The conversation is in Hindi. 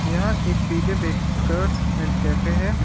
यह एक P J bakers and cafe है।